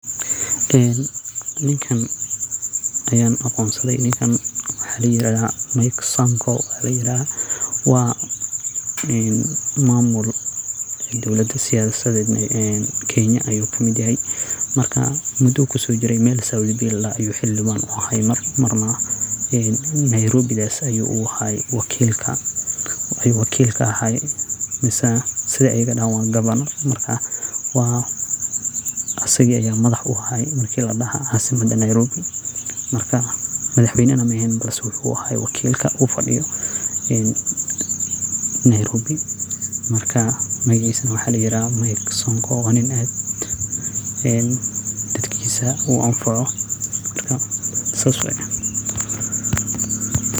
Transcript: Ninkan ayan aqonsade oo waxa layirahda Mike Sonko, wa mamuul siyasada Kenya ayu kusojire oo meel south c ladoho ayu xildhiban kaahay marna Nairobi ayu gavana kaahay marka asaga aya madax uahay nairobi, madaxweyna maehen lakin asaga aya wakil kaaha marka magacisa waxa ladaha Mike Sonko wana niin dadkisa aad uanfaco.